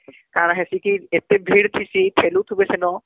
କାଣା ହେସି କି , ଏତେ ଭିଡ଼ ଠିଁସୀ ଠେଲୁ ଥିବେ ସେନ